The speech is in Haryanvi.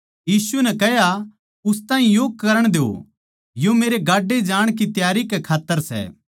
यीशु नै कह्या उस ताहीं यो करण द्यो यो मेरे गाड्डे जाण की तैयारी कै खात्तर सै